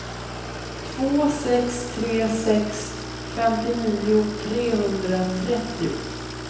två sex tre sex femtionio trehundratrettio